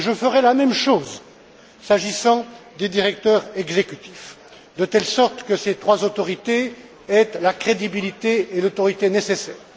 Je ferai la même chose s'agissant des directeurs exécutifs, de telle sorte que ces trois autorités aient la crédibilité et l'autorité nécessaires.